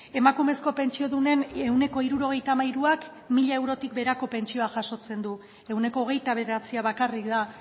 emakumezko pentsiodunen ehuneko hirurogeita hamairuak mila eurotik beherako pentsioa jasotzen du ehuneko hogeita bederatzia bakarrik da